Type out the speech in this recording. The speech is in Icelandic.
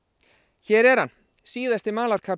hér er hann síðasti